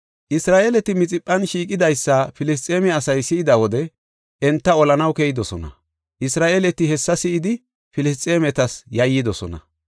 Isra7eeleti Mixiphan shiiqidaysa Filisxeeme asay si7ida wode enta olanaw keyidosona. Isra7eeleti hessa si7idi, Filisxeemetas yayyidosona.